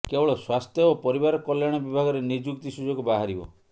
କେବଳ ସ୍ୱାସ୍ଥ୍ୟ ଓ ପରିବାର କଲ୍ୟାଣ ବିଭାଗରେ ନିଯୁକ୍ତି ସୁଯୋଗ ବାହାରିବ